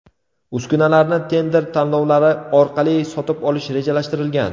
Uskunalarni tender tanlovlari orqali sotib olish rejalashtirilgan.